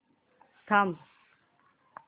थांब